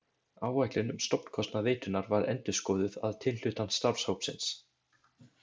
Áætlun um stofnkostnað veitunnar var endurskoðuð að tilhlutan starfshópsins.